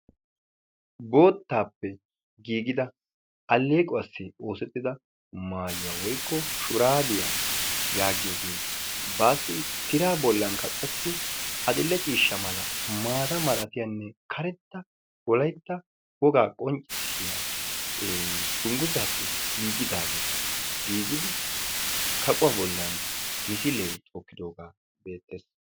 bootappe giigida alleequwassi oossetida maayuwa woykko shurabiyaa yagiyooge bassi tira bollankka qassi adil'ee ciishsha, maata mala giigidi baassi tira bollan maata mala karetta wogaa qonccissiya dungguzzappe giigida kaqquwa bollan misilee tookidooge beettees.